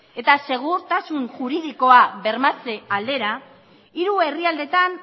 eta segurtasun juridikoa bermatze aldera hiru herrialdetan